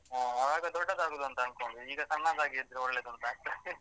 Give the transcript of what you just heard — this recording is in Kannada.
ಹಾ ಅವಾಗ ದೊಡ್ಡದಾಗುದಂತ ಅಂದ್ಕೊಂಡ್ವಿ ಈಗ ಸಣ್ಣದಾಗಿದ್ರೆ ಒಳ್ಳೇದೂನ್ತ ಆಗ್ತದೆ .